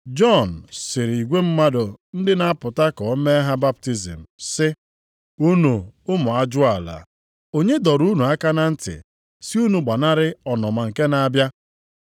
Jọn sịrị igwe mmadụ ndị na-apụta ka o mee ha baptizim sị, “Unu ụmụ ajụala! Onye dọrọ unu aka na ntị sị unu gbanarị ọnụma nke na-abịa?